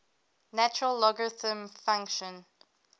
natural logarithm function